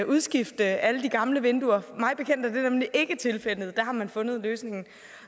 udskifte alle de gamle vinduer mig bekendt er det nemlig ikke tilfældet der har man fundet en løsning